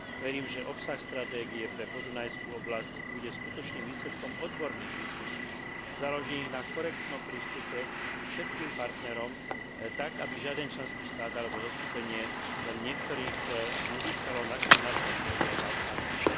Verím, že obsah stratégie pre podunajskú oblasť bude skutočným výsledkom odborných diskusií založených na korektnom prístupe ku všetkým partnerom tak, aby žiaden členský štát alebo zoskupenie len niektorých nezískalo nadštandardné výhody a zaobchádzanie.